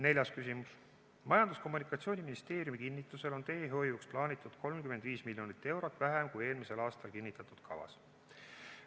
Neljas küsimus: "Majandus- ja Kommunikatsiooniministeeriumi kinnitusel on teehoiuks plaanitud 35 miljonit eurot vähem kui eelmisel aastal kinnitatud kavas.